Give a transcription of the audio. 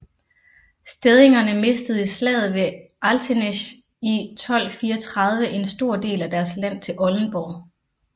Stedingerne mistede i slaget ved Altenesch 1234 en stor del af deres land til Oldenborg